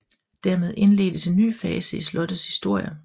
Dermed indledtes en ny fase i slottets historie